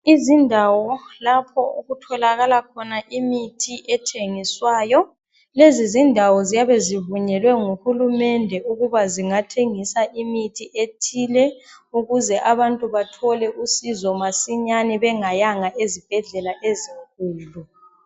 Izindawo lapho okutholakala khona imithi ethengiswayo lezizindawo ziyabe zivunyelwe nguhulumende ukuba zingathengisa imithi ethile ukuze abantu bathole usizo masinyani bengayanga ezibhedlela ezinkulu